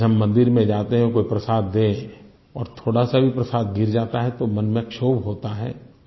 जैसे हम मंदिर में जाते हैं कोई प्रसाद दे और थोड़ा सा भी प्रसाद गिर जाता है तो मन में क्षोभ होता है